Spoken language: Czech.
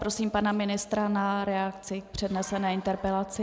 Prosím pana ministra o reakci na přednesenou interpelaci.